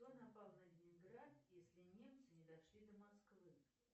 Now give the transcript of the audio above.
кто напал на ленинград если немцы не дошли до москвы